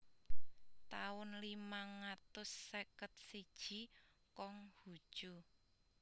taun limang atus seket siji Kong Hu Cu